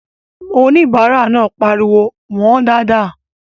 Oníbàárà náà pariwo "wọ̀ọ́n dáadáa!"